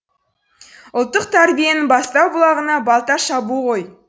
ұлттық тәрбиенің бастау бұлағына балта шабу ғой